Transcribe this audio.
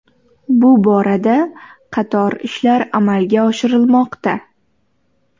Bu borada qator ishlar amalga oshirilmoqda.